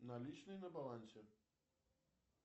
наличные на балансе